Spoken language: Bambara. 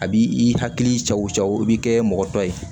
A b'i hakili cɛw jaw i bɛ kɛ mɔgɔtɔ ye